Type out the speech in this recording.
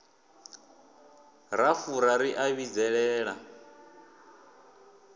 ra fura ri a vhidzelela